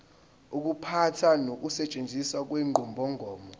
ukuphatha nokusetshenziswa kwenqubomgomo